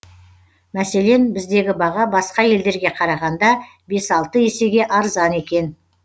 мәселен біздегі баға басқа елдерге қарағанда бес алты есеге арзан екен